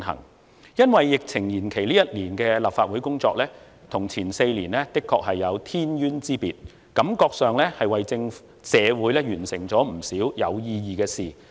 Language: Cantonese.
本屆立法會因為疫情延任一年，這一年的工作與前4年的工作的確有天淵之別，讓我感覺我們為社會完成了不少有意義的事情。